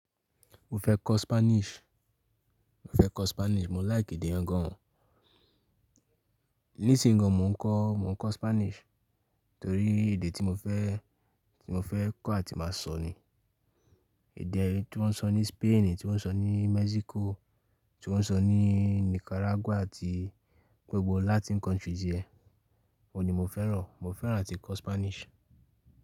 Mo fẹ́ kọ́ Spanish, mo fẹ́ kọ́ Spanish, mo like èdè yan gan o. Nísìn gan mò ń kọ, mò ń kọ Spanish torí èdè tí mo fẹ́, tí mo fẹ́ kọ́ àti máa sọ ni. Èdè tí wọ́n ń sọ ní Spain, tí wọ́n ń sọ ní Mexico, tí wọ́n ń sọ ní Nicaragua àti gbogbo Latin countries yẹn. Òun ni mo fẹ́ràn, mo fẹ́ràn áti kọ́ Spanish.